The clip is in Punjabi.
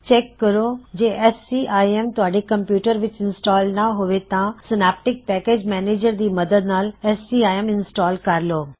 ਚੈੱਕ ਕਰੋ ਜੇ ਐਸ ਸੀ ਆਈ ਐਮ ਤੂਹਾਡੇ ਕੰਪਿਊਟਰ ਵਿੱਚ ਇੰਸਟਾਲ ਨਾਂ ਹੋਵੇ ਤਾਂ ਸਾਏਨੈਪਟਿਕ ਪੈਕਿਜ਼ ਮੈਨਿਜ਼ਰ ਦੀ ਮਦਦ ਨਾਲ ਸੀਆਈਐੱਮ ਇੰਸਟਾਲ ਕਰ ਲੋ